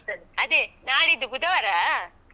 ಅದೇ, ನಾಡಿದ್ದು ಬುಧವಾರಾ.